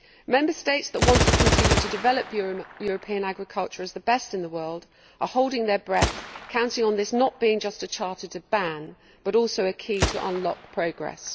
Member States that want to continue to develop European agriculture as the best in the world are holding their breath, counting on this not being just a charter to ban, but also a key to unlock progress.